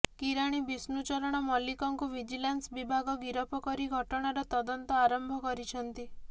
କିରାଣୀ ବିଷ୍ଣୁ ଚରଣ ମଲ୍ଲିକଙ୍କୁ ଭିଜିଲାନ୍ସ ବିଭାଗ ଗିରଫ କରି ଘଟଣାର ତଦନ୍ତ ଆରମ୍ଭ କରିଛନ୍ତି